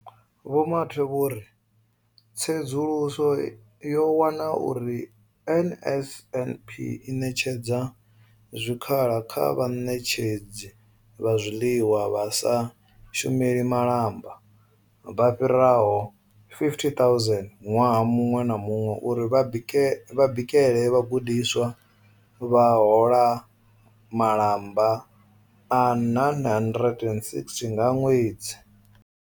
Vho Mathe vho ri, Tsedzuluso yo wana uri NSNP i ṋetshedza zwikhala kha vhaṋetshedzi vha zwiḽiwa vha sa shumeli malamba vha fhiraho 50 000 ṅwaha muṅwe na muṅwe uri vha bikele vhagudiswa, vha hola malamba a R960 nga ṅwedzi.